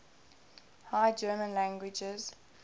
high german languages